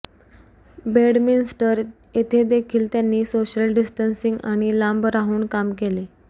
Bedminster येथे देखील त्यांनी सोशल डिस्टेंसिंग आणि लांब राहून काम केले